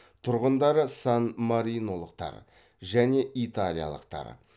тұрғындары сан маринолықтар және италиялықтар